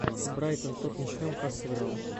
брайтон тоттенхэм как сыграл